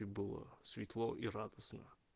и было светло и радостно